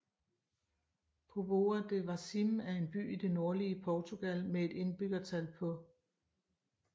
Póvoa de Varzim er en by i det nordlige Portugal med et indbyggertal på